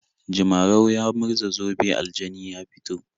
Jimrau ya murza zobe aljani ya fito.